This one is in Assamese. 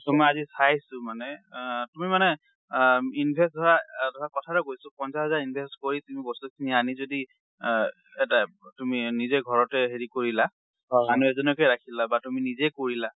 টো মই আজি চাইছোঁ মানে, আ তুমি মানে আ invest ধৰা, ধৰা কথাটো কৈছো পঞ্চাশ হাজাৰ invest কৰি তুমি বস্তু খিনি আনি যদি এ এটা এব তুমি নিজে ঘৰতে হেৰি কৰিলা, মানুহ এজনকে ৰাখিলা বা তুমি নিজেই কৰিলা।